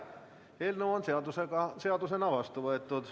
Eelnõu on seadusena vastu võetud.